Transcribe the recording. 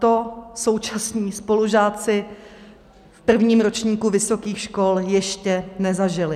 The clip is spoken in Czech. To současní spolužáci v prvním ročníku vysokých škol ještě nezažili.